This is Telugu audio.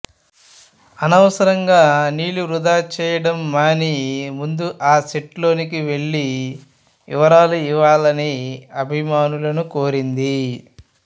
అనవసరంగా నీళ్లు వృథా చేయడం మాని ముందు ఆ సైట్ లోకి వెళ్లి విరాళాలు ఇవ్వాలని అభిమానులను కోరింది